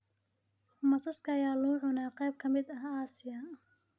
Masaska ayaa lagu cunaa qaybo ka mid ah Aasiya